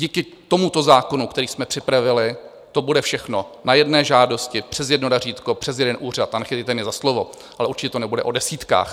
Díky tomuto zákonu, který jsme připravili, to bude všechno na jedné žádosti, přes jedno razítko, přes jeden úřad, a nechytejte mě za slovo, ale určitě to nebude o desítkách.